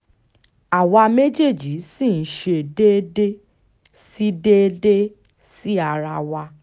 àwa méjèèjì ṣì ń ṣe déédé sí déédé sí ara wa